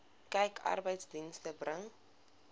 kyk arbeidsdienste bring